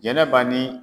Jɛnɛba ni